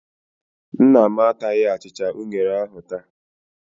Nna m ataghị achịcha unere ahụ taa.